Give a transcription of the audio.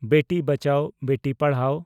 ᱵᱮᱴᱤ ᱵᱟᱪᱟᱣ ᱵᱮᱴᱤ ᱯᱟᱲᱷᱟᱣ